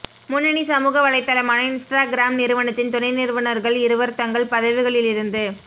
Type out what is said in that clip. முன்னணி சமூக வலைத்தளமான இன்ஸ்ட்ராகிராம் நிறுவனத்தின் துணை நிறுவுனர்கள் இருவர் தங்கள் பதவிகளிலிருந்து